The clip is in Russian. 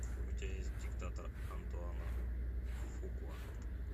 у тебя есть диктатор антуана фукуа